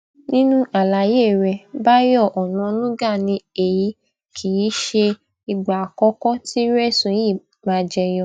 nínú àlàyé rẹ báyọ onanúgà ni èyí kì í ṣe ìgbà àkọkọ tírú ẹsùn yìí máa jẹ yọ